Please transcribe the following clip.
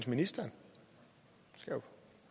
ministeren